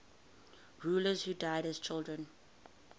rulers who died as children